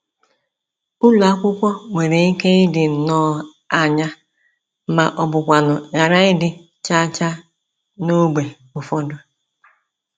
Ụlọ akwụkwọ nwere ike ịdị nnọọ anya ma ọ bụkwanụ ghara ịdị cha-cha n’ógbè ụfọdụ.